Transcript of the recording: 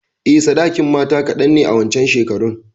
Eh, sadakin matata kadan ne a wancan shekarun.